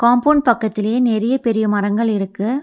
Compound பக்கத்திலயே நெறைய பெரிய மரங்கள் இருக்கு.